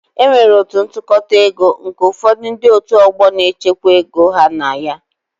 E nwere otu ntụkọta ego nke ụfọdụ ndị otu ọgbọ na-echekwa ego ha na ya